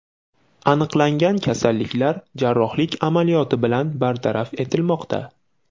Aniqlangan kasalliklar jarrohlik amaliyoti bilan bartaraf etilmoqda.